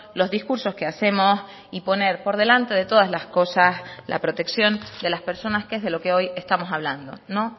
los discursos que hacemos y poner por delante de todas las cosas la protección de las personas que es de lo que hoy estamos hablando no